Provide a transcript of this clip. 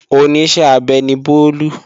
Oníṣẹ́ abẹ ni Bólú